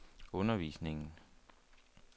undervisningen